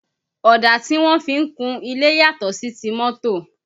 Ọ̀dà tí wọ́n fi ń kun ilé yàtọ̀ sí ti mọ́tọ̀